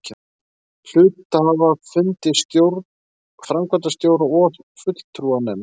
hluthafafundi, stjórn, framkvæmdastjóra og fulltrúanefnd.